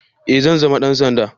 Eh zan zama dan sanda